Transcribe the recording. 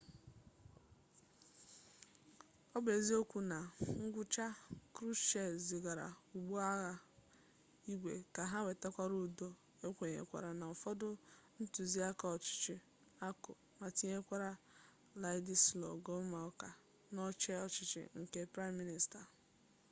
ọ bụ eziokwu na na ngwụcha krushchev zigara ụgbọ agha igwe ka ha wetaghachi udo okwenyekwara na ụfọdụ ntuziaka ọchịchọ akụ ma tinyekwa wladyslaw gomulka n'oche ọchịchị nke praịm minista